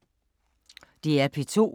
DR P2